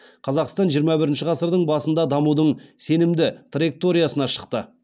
қазақстан жиырма бірінші ғасырдың басында дамудың сенімді траекториясына шықты